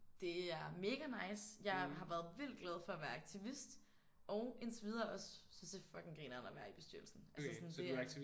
Det er mega nice. Jeg har været vildt glad for at være aktivist og indtil videre også synes det er fucking grineren at være i bestyrelsen. Altså sådan det er